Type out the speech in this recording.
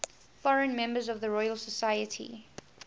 foreign members of the royal society